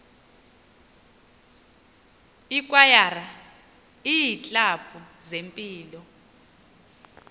ikwayara iiklabhu zempilo